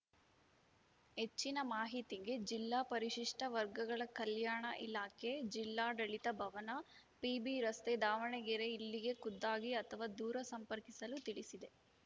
ಹೆಚ್ಚಿನ ಮಾಹಿತಿಗೆ ಜಿಲ್ಲಾ ಪರಿಶಿಷ್ಟವರ್ಗಗಳ ಕಲ್ಯಾಣ ಇಲಾಖೆ ಜಿಲ್ಲಾಡಳಿತ ಭವನ ಪಿಬಿರಸ್ತೆ ದಾವಣಗೆರೆ ಇಲ್ಲಿಗೆ ಖುದ್ದಾಗಿ ಅಥವಾ ದೂರ ಸಂಪರ್ಕಿಸಲು ತಿಳಿಸಿದೆ